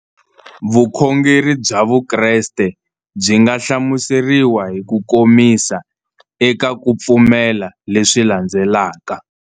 Vukhongeri bya Vukreste byi nga hlamuseriwa hi kukomisa eka ku pfumela leswi landzelaka.